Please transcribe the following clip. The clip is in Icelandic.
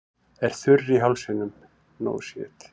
Er þurr í hálsinum.